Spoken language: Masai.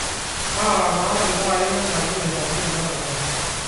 taara taa iltaai lenkaji nairagi tenakata